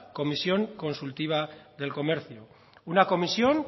comisión consultiva del comercio una comisión